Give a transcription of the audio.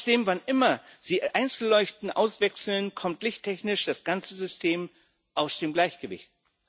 Trotzdem, wann immer sie einzelne Leuchten auswechseln, kommt lichttechnisch das ganze System aus dem Gleichgewicht.